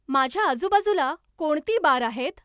माझ्या आजूबाजूला कोणती बारं आहेत